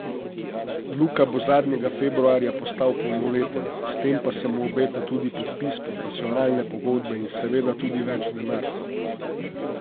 Luka bo zadnjega februarja postal polnoleten, s tem pa se mu obeta tudi podpis profesionalne pogodbe in seveda tudi več denarcev.